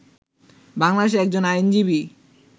বাংলাদেশের একজন আইনজীবী